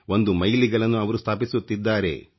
ಒಂದು ಮೈಲಿಗಲ್ಲನ್ನು ಅವರು ಸ್ಥಾಪಿಸುತ್ತಿದ್ದಾರೆ